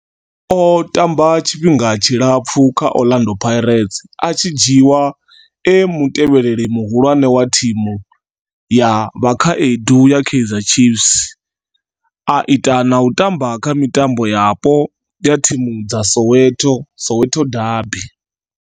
O tamba tshifhinga tshilapfhu kha Orlando Pirates, a tshi dzhiiwa e mutevheli muhulwane wa thimu ya vhakhaedu ya Kaizer Chiefs, a ita na u tamba kha mitambo yapo ya thimu dza Soweto, Soweto derbies.